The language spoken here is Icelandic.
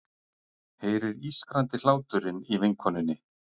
Heyrir ískrandi hláturinn í vinkonunni.